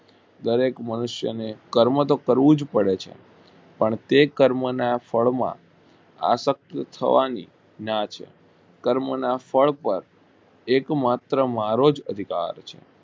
દરેક મનુષ્યો ને કર્મ તો કરવું જ પડે છે પણ તે કર્મ ના ફળ માં આશકય થવાની ના છે કર્મ ના ફળ પર એક માત્ર મારો જ અધિકાર છે.